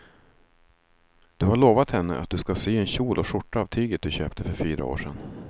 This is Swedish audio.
Du har lovat henne att du ska sy en kjol och skjorta av tyget du köpte för fyra år sedan.